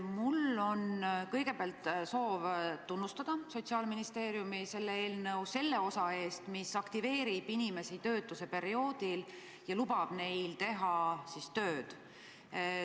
Mul on kõigepealt soov tunnustada Sotsiaalministeeriumi eelnõu selle osa eest, mis aktiveerib inimesi töötuseperioodil ja lubab neil tööd teha.